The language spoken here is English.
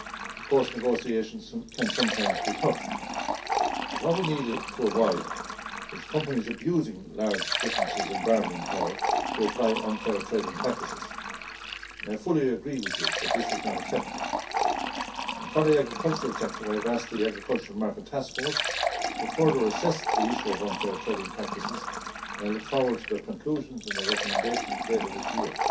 Of course, negotiations can sometimes be tough but what we need to avoid is companies' abusing large differences in bargaining power to apply unfair trading practices. I fully agree with you that this is not acceptable. For the agricultural sector I have asked the Agricultural Markets Task Force to further assess the issue of unfair trading practices and I look forward to their conclusions and their recommendations later this year.